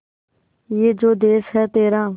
ये जो देस है तेरा